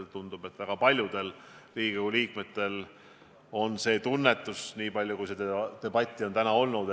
Tundub, et väga paljudel Riigikogu liikmetel on seesama tunnetus, niipalju kui seda debatti täna on olnud.